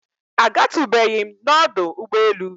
A gatụbeghịm nọdụ ụgbọ elu.